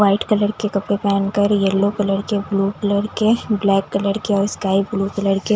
white colour के कपड़े पहनकर येलो कलर के ब्लू कलर के ब्लैक कलर के और स्काई ब्लू कलर के--